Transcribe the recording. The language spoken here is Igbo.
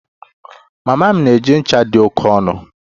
Mama m na-eji ncha dị oke ọnụ